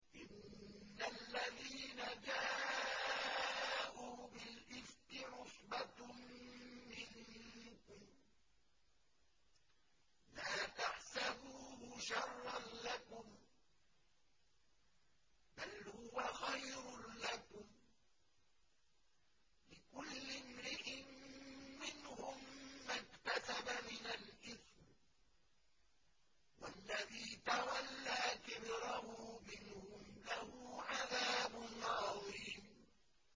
إِنَّ الَّذِينَ جَاءُوا بِالْإِفْكِ عُصْبَةٌ مِّنكُمْ ۚ لَا تَحْسَبُوهُ شَرًّا لَّكُم ۖ بَلْ هُوَ خَيْرٌ لَّكُمْ ۚ لِكُلِّ امْرِئٍ مِّنْهُم مَّا اكْتَسَبَ مِنَ الْإِثْمِ ۚ وَالَّذِي تَوَلَّىٰ كِبْرَهُ مِنْهُمْ لَهُ عَذَابٌ عَظِيمٌ